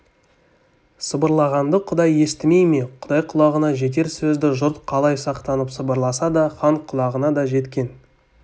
сыбырлағанды құдай естімей ме құдай құлағына жетер сөзді жұрт қалай сақтанып сыбырласа да хан құлағына да жеткен